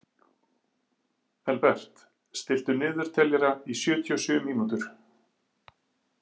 Elbert, stilltu niðurteljara í sjötíu og sjö mínútur.